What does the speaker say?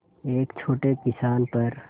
एक छोटे किसान पर